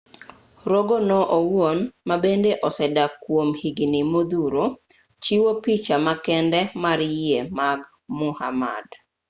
rogo no owuon ma bende osedak kuom higni modhuro chiwo picha ma kende mar yie mag muhammad